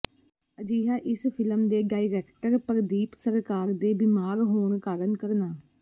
ਅਜਿਹਾ ਇਸ ਫਿ਼ਲਮ ਦੇ ਡਾਇਰੈਕਟਰ ਪ੍ਰਦੀਪ ਸਰਕਾਰ ਦੇ ਬੀਮਾਰ ਹੋਣ ਕਾਰਨ ਕਰਨਾ